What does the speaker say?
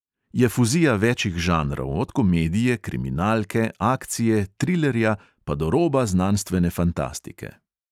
Je fuzija večih žanrov, od komedije, kriminalke, akcije, trilerja pa do roba znanstvene fantastike.